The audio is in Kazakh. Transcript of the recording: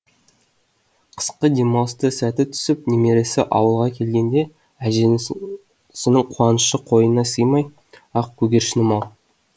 қысқы демалыста сәті түсіп немересі ауылға келгенде әжесінің қуанышы қойнына сыймай ақ көгершінім ау